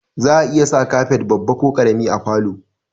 Za'a iya sa kafet babba ko ƙarami a falo